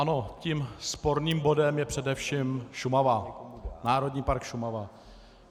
Ano, tím sporným bodem je především Šumava, Národní park Šumava.